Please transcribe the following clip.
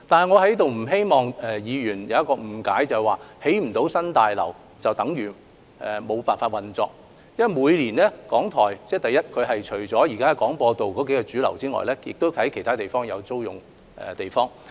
我不希望議員誤認為不能興建新大樓，便等於港台無法運作，因為港台每年除了使用位於廣播道的數座大廈外，亦在其他地點租用地方。